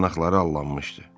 Yanaqları allanmışdı.